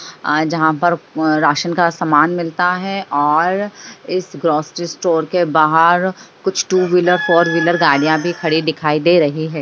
अ जहाँ पर राशन का सामान मिलता है और इस ग्रॉसरी स्टोर के बाहर कुछ टू-व्हीलर फोर-व्हीलर गाड़ियाँ भी खड़ी दिखाई दे रही है।